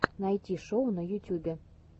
найти шоу в ютюбе